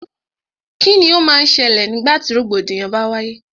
Kíni o má n ṣẹlẹ̀ nígbà tí rògbòdìyàn bá wáyé?